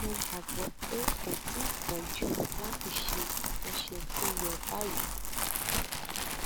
mo gbàgbọ pé kò tí ì ì pẹ jù láti ṣe àtúnṣe tó yẹ báyìí